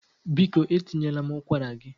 Biko etinyela m ụkwara gị